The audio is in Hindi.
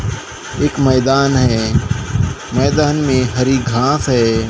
एक मैदान है मैदान में हरी घास है।